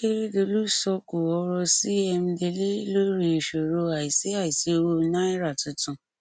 akérèdọlù sọkò ọrọ sí emdele lórí ìṣòro àìsí àìsí owó náírà tuntun